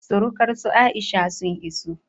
surukar su Aisha sun iso